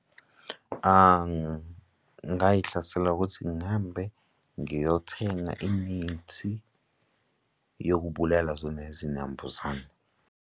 Ngingayihlasela ukuthi ngihambe ngiyothenga imithi yokubulala zona izinambuzane.